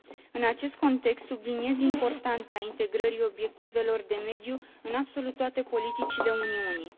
În acest context, subliniez importanța integrării obiectivelor de mediu în absolut toate politicile Uniunii.